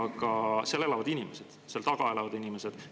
Aga seal elavad inimesed, seal taga elavad inimesed.